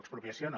expropiació no